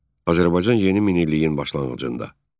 Azərbaycan yeni minilliyin başlanğıcında.